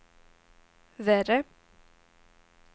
värre